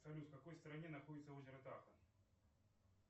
салют в какой стране находится озеро тахо